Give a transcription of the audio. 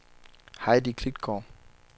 Heidi Klitgaard